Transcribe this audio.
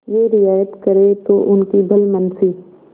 यह रियायत करें तो उनकी भलमनसी